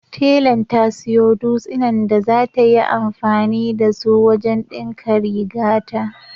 Telan ta siyo dutsinan da zata yi anfani da su wajen ɗinka rigata.